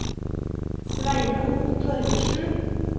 Sveinung Torgersen